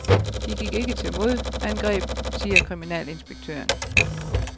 De gik ikke til modangreb, siger kriminalinspektøren.